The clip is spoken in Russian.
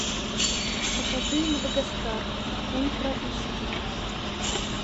покажи мадагаскар ультра эйч ди